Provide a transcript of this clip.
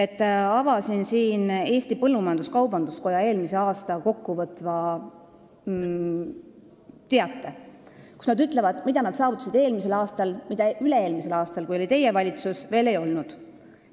Ma avasin Eesti Põllumajandus-Kaubanduskoja eelmise aasta kokkuvõtva teate, kus nad ütlevad, mida nad saavutasid eelmisel aastal ja mida üle-eelmisel aastal, kui oli teie valitsus, veel ei olnud.